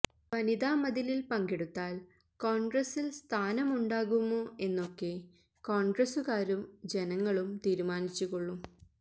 വനിതാ മതിലില് പങ്കെടുത്താല് കോണ്ഗ്രസില് സ്ഥാനമുണ്ടാകുമോ എന്നൊക്കെ കോണ്ഗ്രസുകാരും ജനങ്ങളും തീരുമാനിച്ചുകൊള്ളും